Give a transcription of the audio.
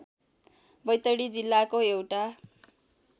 बैतडी जिल्लाको एउटा